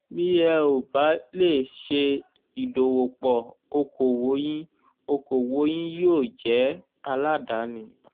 bí ẹ ò bá lè ṣe ìdòwòpò okòwò yín okòwò yín yóò jẹ́ taládàáni